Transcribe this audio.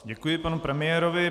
Děkuji panu premiérovi.